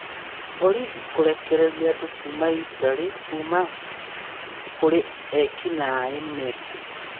Borithi kũrekereria andũ kuma Italy kuma kũrĩ eki-naĩ Mexico.